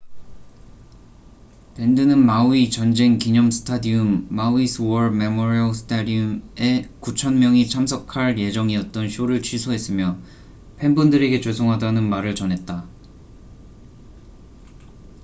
밴드는 마우이 전쟁 기념 스타디움maui's war memorial stadium에 9천 명이 참석할 예정이었던 쇼를 취소했으며 팬분들에게 죄송하다는 말을 전했다